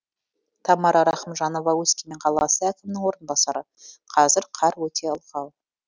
тамара рахымжанова өскемен қаласы әкімінің орынбасары қазір қар өте ылғал